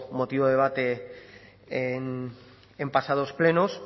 motivo de debate en pasados plenos